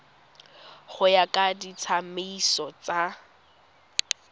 go ya ka ditsamaiso tsa